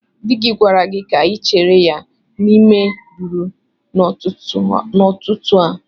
Di gi gwara gi ka ịchere ya n'ime rumụ n'ututu a.